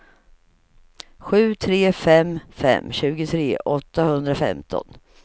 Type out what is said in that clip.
sju tre fem fem tjugotre åttahundrafemton